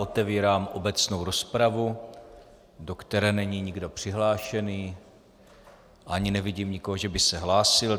Otevírám obecnou rozpravu, do které není nikdo přihlášený, ani nevidím nikoho, že by se hlásil.